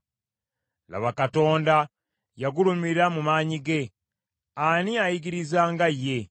“Laba Katonda yagulumira mu maanyi ge; ani ayigiriza nga ye?